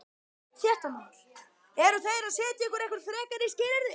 Fréttamaður: Eru þeir að setja ykkur einhver frekari skilyrði?